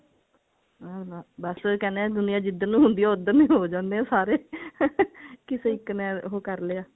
ਹਮ ਬਸ ਉਹੀ ਕਹਿੰਦੇ ਨੇ ਦੁਨੀਆ ਜਿਦਰ ਨੂੰ ਹੁੰਦੀ ਹੈ ਉਧਰ ਨੂੰ ਹੀ ਹੋ ਜਾਂਦੇ ਨੇ ਸਾਰੇ ਕਿਸੇ ਇੱਕ ਨੇ ਉਹ ਕਰਲਿਆ